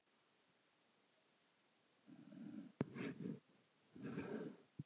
Bifreið fer um götur greitt.